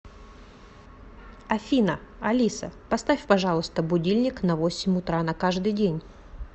афина алиса поставь пожалуйста будильник на восемь утра на каждый день